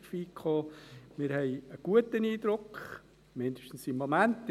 Wir haben einen guten Eindruck, zumindest momentan.